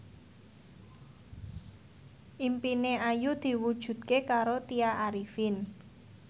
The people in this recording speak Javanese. impine Ayu diwujudke karo Tya Arifin